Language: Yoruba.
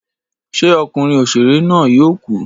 Ṣé okunrin òṣèré na yóò ku?